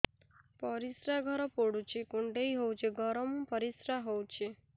ପରିସ୍ରା ଘର ପୁଡୁଚି କୁଣ୍ଡେଇ ହଉଚି ଗରମ ପରିସ୍ରା ହଉଚି